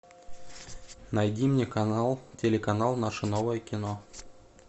найди мне канал телеканал наше новое кино